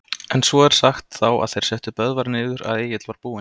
En svo er sagt, þá er þeir settu Böðvar niður, að Egill var búinn